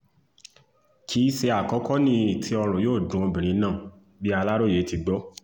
kì í ṣe àkókò nìyí tí ọ̀run yóò dun obìnrin náà bí aláròyé ti gbó